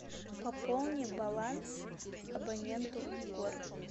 пополни баланс абоненту егор